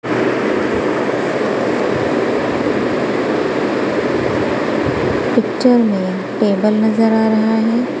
Picture में table नजर आ रहा है।